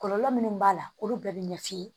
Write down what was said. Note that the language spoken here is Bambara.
Kɔlɔlɔ minnu b'a la k'olu bɛɛ bɛ ɲɛ f'i ye